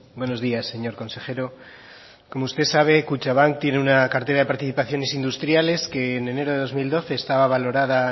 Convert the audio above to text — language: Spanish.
buenos días señor consejero como usted sabe kutxabank tiene una cartera de participaciones industriales que en enero de dos mil doce estaba valorada